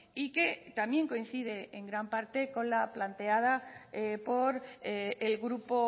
y que también coincide en gran parte con la planteada por el grupo